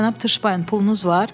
Cənab Tuşbayın pulunuz var?